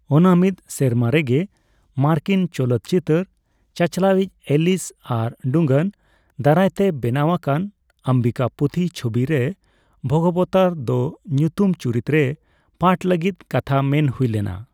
ᱚᱱᱟ ᱢᱤᱫ ᱥᱮᱨᱢᱟ ᱨᱮᱜᱮ ᱢᱟᱨᱠᱤᱱ ᱪᱚᱞᱚᱛ ᱪᱤᱛᱟᱹᱨ ᱪᱟᱪᱞᱟᱣᱤᱡ ᱮᱞᱤᱥ ᱟᱨ ᱰᱩᱝᱜᱟᱱ ᱫᱟᱨᱟᱭ ᱛᱮ ᱵᱮᱱᱟᱣ ᱟᱠᱟᱱ ᱚᱢᱵᱤᱠᱟᱯᱚᱛᱷᱤ ᱪᱷᱚᱵᱤ ᱨᱮ ᱵᱷᱚᱜᱚᱵᱚᱛᱟᱨ ᱫᱚ ᱩᱛᱩᱢ ᱪᱩᱨᱤᱛ ᱨᱮ ᱯᱟᱴᱷ ᱞᱟᱹᱜᱤᱫ ᱠᱟᱛᱷᱟ ᱢᱮᱱ ᱦᱩᱭ ᱞᱮᱱᱟ ᱾